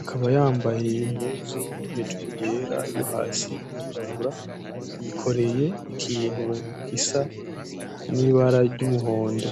akaba yambaye impunzu hejuru yera iyo hasi irirabura yikoreye ikintu gisa nibara ryumuhondo.